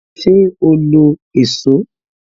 Ṣé o lo èsó?